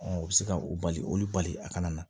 u bɛ se ka o bali olu bali a kana na